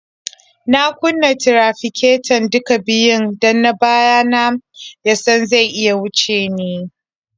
Na kunna tirafiketo duka biyun don na baya na ya san zai iya wuce ni.